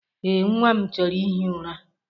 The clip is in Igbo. Ee, nnwa m chọrọ ihi ụra.